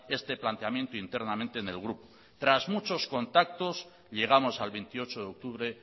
este planteamiento internamente en el grupo tras muchos contactos llegamos al veintiocho de octubre